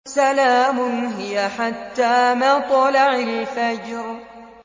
سَلَامٌ هِيَ حَتَّىٰ مَطْلَعِ الْفَجْرِ